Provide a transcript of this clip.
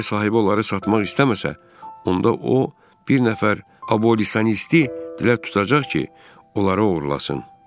Əgər sahibi onları satmaq istəməsə, onda o bir nəfər abolitionisti tutacaq ki, onları oğurlasın.